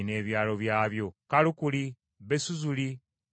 Kalukuli, Besuzuli, n’e Gedoli;